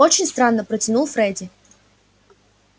очень странно протянул фредди